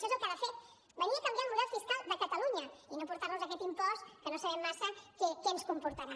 això és el que ha de fer venir a canviar el model fiscal de catalunya i no portar nos aquest impost que no sabem massa què ens comportarà